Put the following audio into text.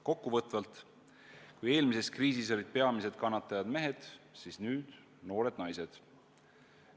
Kokkuvõtvalt: kui eelmises kriisis olid peamised kannatajad mehed, siis nüüd on noored naised.